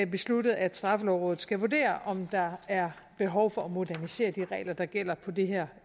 besluttet at straffelovrådet skal vurdere om der er behov for at modernisere de regler der gælder på det her